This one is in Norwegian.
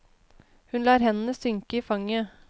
Hun lar hendene synke i fanget.